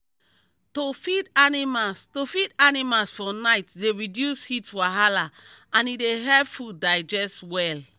to feed animals to feed animals for night dey reduce heat wahala and e dey help food digest well